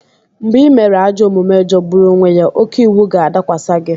Mgbe ị mere ajọ omume jọgburu onwe ya, oke iwu ga-adakwasị gị.